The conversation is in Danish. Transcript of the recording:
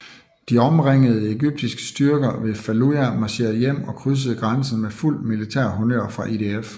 De omringede egyptiske styrker ved Faluja marcherede hjem og krydsede grænsen med fuld militær honnør fra IDF